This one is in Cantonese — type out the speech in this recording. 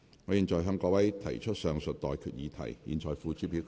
我現在向各位提出上述待決議題，付諸表決。